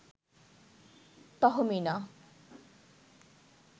Tahmina